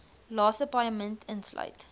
laaste paaiement insluit